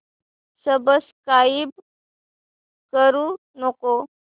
subscribe करू नको